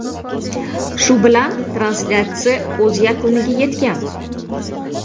Shu bilan translyatsiya o‘z yakuniga yetgan.